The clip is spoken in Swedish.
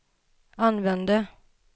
använde